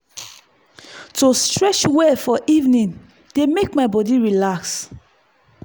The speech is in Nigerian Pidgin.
to stretch well for evening dey help my body relax.